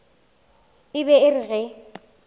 e be e re ge